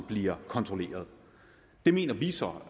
bliver kontrolleret det mener vi så